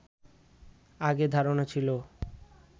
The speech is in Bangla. আগে ধারণা ছিল